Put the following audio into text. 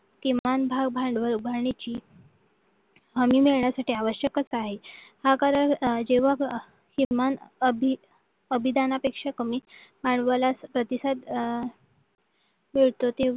किंवा भांडवल उभारण्याची हमी घेण्यासाठी आवश्यक आहे हा कारण जेव्हा जेव्हा किमान अभिदानापेक्षा कमी भांडवलात प्रतिसाद अह मिळतो